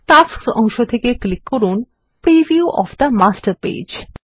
tasks অংশ থেকে click করুন preview of the master page